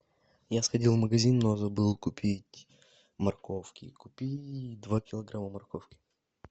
я сходил в магазин но забыл купить морковки купи два килограмма морковки